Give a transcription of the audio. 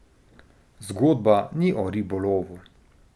Zgodba ni o ribolovu.